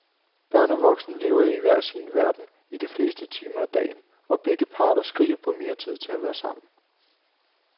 Børn og voksne lever i hver sin verden i de fleste timer af dagen, og begge parter skriger på mere tid til at være sammen.